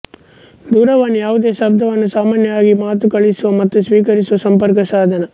ದೂರವಾಣಿ ಯಾವುದೇ ಶಬ್ದವನ್ನು ಸಾಮಾನ್ಯವಾಗಿ ಮಾತು ಕಳಿಸುವ ಮತ್ತು ಸ್ವೀಕರಿಸುವ ಸಂಪರ್ಕ ಸಾಧನ